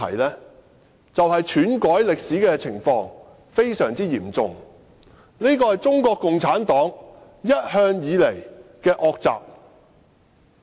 便是篡改歷史的情況非常嚴重，而這向來是中國共產黨的惡習。